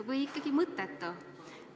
Või ikkagi mõttetu?